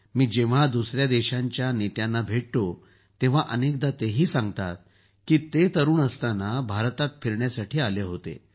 मी जेव्हा दुसऱ्या देशांच्या नेत्यांना भेटतो तेव्हा अनेकदा तेही सांगतात की ते तरूण असताना भारतात फिरण्यासाठी आले होते